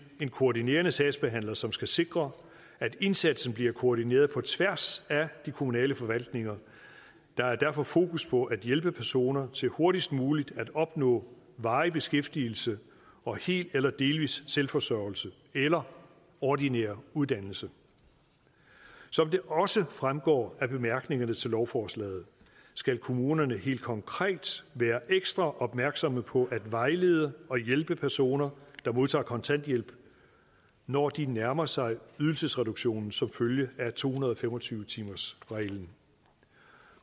en koordinerende sagsbehandler som skal sikre at indsatsen bliver koordineret på tværs af de kommunale forvaltninger der er derfor fokus på at hjælpe personer til hurtigst muligt at opnå varig beskæftigelse og hel eller delvis selvforsørgelse eller ordinær uddannelse som det også fremgår af bemærkningerne til lovforslaget skal kommunerne helt konkret være ekstra opmærksomme på at vejlede og hjælpe personer der modtager kontanthjælp når de nærmer sig ydelsesreduktionen som følge af to hundrede og fem og tyve timersreglen